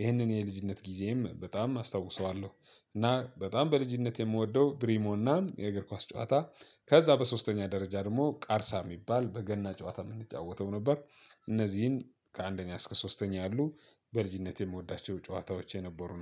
ይህንን የልጅነት ጊዜም በጣም አስታውሰዋለሁ። እና በጣም በልጅነት የምወደው ብሪሞና የእግር ኳስ ጨዋታ። ከዛ በሶስተኛ ደረጃ ደግሞ ቃርሳ የሚባል በገና ጨዋታ የምንጫወተው ነበር። እነዚህን ከአንደኛ እስከ ሶስተኛ ያሉ በልጅነቴ የምወዳቸው ጨዋታዎች የነበሩ